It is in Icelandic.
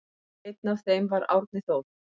Einn af þeim var Árni Þór.